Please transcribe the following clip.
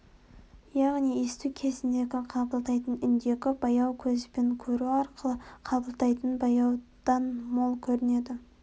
яғни есту кезіндегі қабылдайтын үндегі бояу көзбен көру арқылы қабылдайтын бояудан мол көрінеді